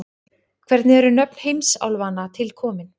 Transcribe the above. Hvernig eru nöfn heimsálfanna til komin?